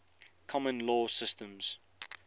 common law systems